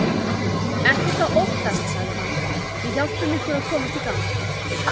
Ekkert að óttast sagði hann, við hjálpum ykkur að komast í gang.